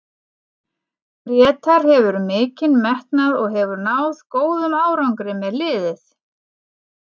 Grétar hefur mikinn metnað og hefur náð góðum árangri með liðið.